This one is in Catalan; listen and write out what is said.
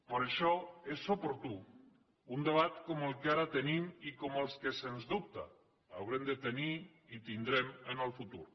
per això és oportú un debat com el que ara tenim i com els que sens dubte haurem de tenir i tindrem en el futur